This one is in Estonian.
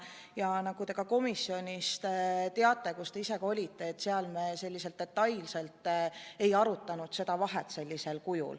Ja nagu te ka ise teate, te olite komisjoni istungil kohal, seal me detailselt seda teemat ei arutanud.